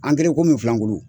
An kɛra i komi filankudu.